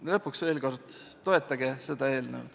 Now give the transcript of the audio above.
Ja lõpuks veel kord: toetage seda eelnõu.